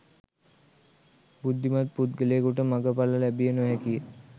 බුද්ධිමත් පුද්ගලයෙකුට මගඵල ලැබිය නොහැකිය